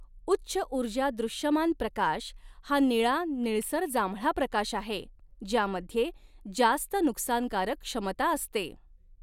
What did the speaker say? उच्च ऊर्जा दृश्यमान प्रकाश हा निळा निळसर जांभळा प्रकाश आहे ज्यामध्ये जास्त नुकसानकारक क्षमता असते.